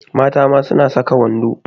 Mata ma suna saka wando.